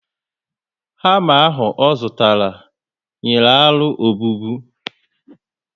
Hama ahụ o zụtara, nyìrí aro obubu